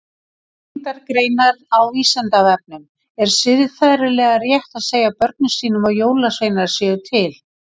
Tengdar greinar á Vísindavefnum Er siðferðilega rétt að segja börnum sínum að jólasveinar séu til?